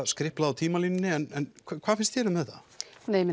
skriplað á tímalínunni en hvað finnst þér um þetta